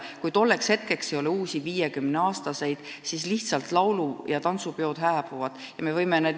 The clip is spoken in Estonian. Kui tolleks ajaks ei ole uusi 50-aastaseid, siis laulu- ja tantsupeod lihtsalt hääbuvad.